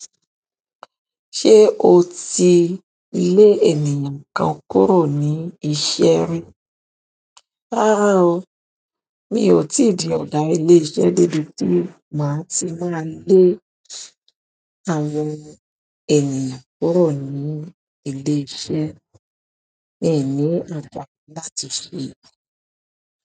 Ṣé o ti lé ènìyàn kan kúrò ní iṣẹ́ rí? Rárá o, mi ò tí di ọ̀gá ilé iṣẹ́ debi tí má tí máa lé àwọn ènìyàn kúrò ní ilé iṣẹ́, mi i ni àgbàrá láti ṣe èyí.